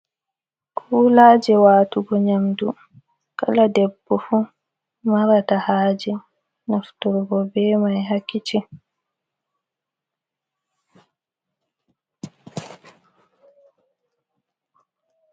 Kulaje watugo nyamɗu kala debbo fu marata haje naftorgo be mai ha kisin.